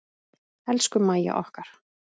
Elsku Mæja okkar.